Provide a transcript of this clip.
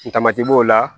Tamati b'o la